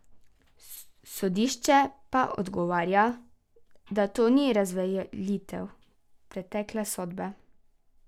Sodišče pa odgovarja, da to ni razveljavitev pretekle sodbe.